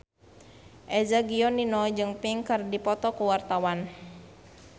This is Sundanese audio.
Eza Gionino jeung Pink keur dipoto ku wartawan